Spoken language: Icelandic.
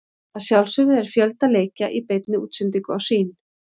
Að sjálfsögðu er fjölda leikja í beinni útsendingu á Sýn.